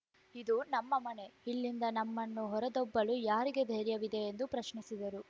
ಇದು ನಮ್ಮ ಮನೆ ಇಲ್ಲಿಂದ ನಮ್ಮನ್ನು ಹೊರದಬ್ಬಲು ಯಾರಿಗೆ ಧೈರ್ಯವಿದೆ ಎಂದು ಪ್ರಶ್ನಿಸಿದರು